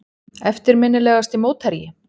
Eftirminnilegasti mótherji?